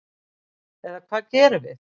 Eða hvað gerum við?